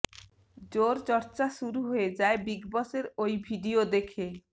জোর চর্চা শুরু হয়ে যায় বিগ বসের ওই ভিডিয়ো দেখে